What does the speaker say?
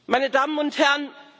Meine Damen und Herren!